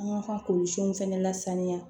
An ka k'olu siw fɛnɛ lasaniya